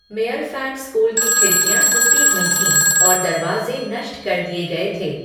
मेयरफैट school की खिड़कियाँ टूटी हुई थीं और दरवाजे नष्ट कर दिए गए थे।